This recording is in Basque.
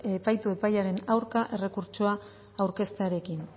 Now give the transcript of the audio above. epaitu epaiaren aurka errekurtsoa aurkeztearekin